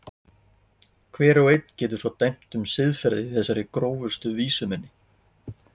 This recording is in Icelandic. Hver og einn getur svo dæmt um siðferðið í þessari grófustu vísu minni.